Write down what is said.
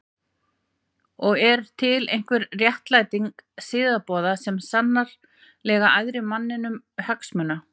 Og er til einhver réttlæting siðaboða sem er sannarlega æðri mannlegum hagsmunum?